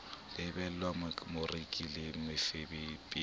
lebelletse moreki le mofepedi ya